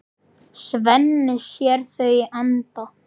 Svenni sér þau í anda.